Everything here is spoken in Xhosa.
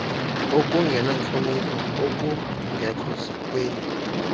okungenantlonipho okungekho sikweni